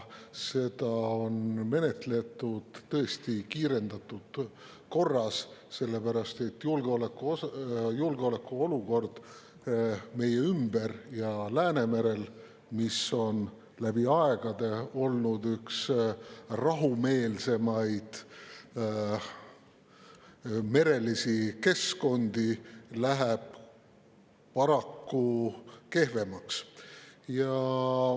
Seda on menetletud tõesti kiirendatud korras, sest julgeolekuolukord meie ümber ja Läänemerel, mis on läbi aegade olnud üks rahumeelsemaid merelisi keskkondi, läheb paraku kehvemaks.